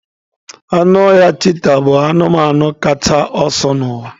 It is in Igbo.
Anụ ọhịa cheeta bụ anụmanụ kacha ọsọ n'ụwa